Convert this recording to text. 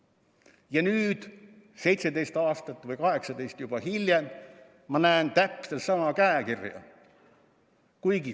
Ja nüüd, 17 või juba 18 aastat hiljem, ma näen täpselt sama käekirja.